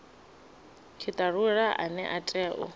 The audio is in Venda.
tshitalula ane a tea u